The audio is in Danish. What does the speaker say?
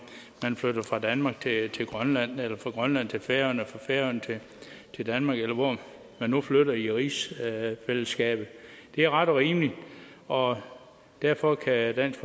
man flytter fra danmark til til grønland eller fra grønland til færøerne eller fra færøerne til danmark eller hvor man nu flytter hen i rigsfællesskabet det er ret og rimeligt og derfor kan dansk